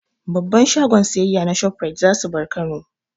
Babban shagon siyayya na Shoprite za su bar Kano.